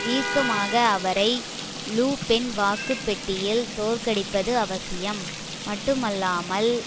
தீர்க்கமாக அவரை Le Pen வாக்கு பெட்டியில் தோற்கடிப்பது அவசியம் மட்டுமல்லாமல்